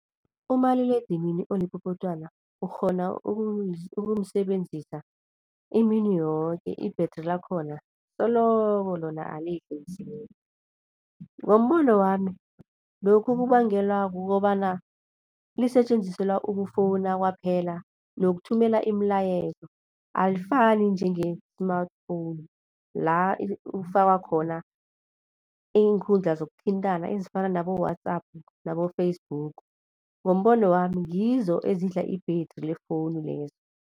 Umaliledinini olipopotwana ukghona ukumsebenzisa imini yoke i-battery lakhona soloko lona alifi msinya. Ngombono wami lokhu kubangelwa kukobana lisetjenziselwa ukufowuna kwaphela nokuthumela imilayezo, alifani njenge-smartphone la ufaka khona iinkundla zokuthintana ezifana nabo-WhatsApp nabo-Facebook. Ngombono wami ngizo ezidla i-battery lefowunu lezi.